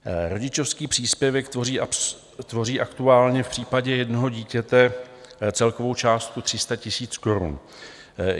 Rodičovský příspěvek tvoří aktuálně v případě jednoho dítěte celkovou částku 300 000 korun.